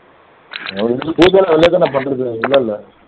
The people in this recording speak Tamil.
அப்படியிருத்தும் பூஜை எல்லாம் வெளியிலதான பண்றது உள்ளே இல்லை